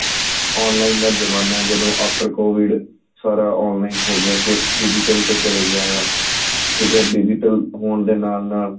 online ਦਾ ਜਮਾਨਾ ਏ ਜਦੋਂ after covid ਸਾਰਾ online ਹੋ ਗਿਆ ਸਿਰਫ਼ digital ਤੇ ਚਲਾ ਗਿਆ ਆਂ ਠੀਕ ਏ digital ਦੇ ਹੋਣ ਦੇ ਨਾਲ ਨਾਲ